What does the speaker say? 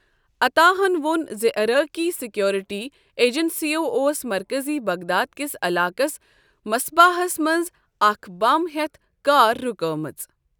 عطاہَن وون زِ عراقی سیکورٹی ایجنسیَو اوس مرکٔزی بغداد کِس علاقس مصباحَس منٛز اکھ بم ہیتھ کار رُکٲومٕژ۔